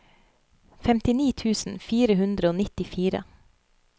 femtini tusen fire hundre og nittifire